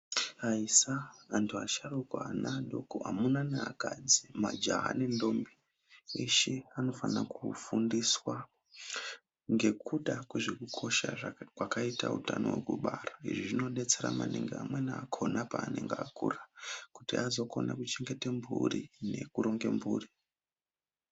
Aisa, anthu asharuka neana adoko amuna neakadzi, majaha nenthombi zveshe. Anofana kufundiswa ngekuda kwezvekukosha kwakaita utano hwekubara. Izvi zvinodetsera amweni akona paanenge akura kuti azokone kuchengete mphuri nekuronge mphuri.